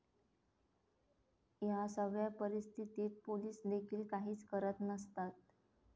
या सगळ्या परिस्थितीत पोलिसदेखील काहीच करत नसतात.